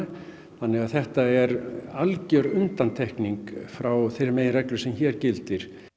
þannig að þetta er algjör undantekning frá þeirri meginreglu sem hér gildir